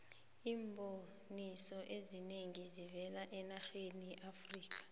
iimboniso ezinengi zivela enarheni yeamerikha